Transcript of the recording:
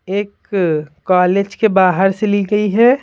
एक कॉलेज के बाहर से ली गई है।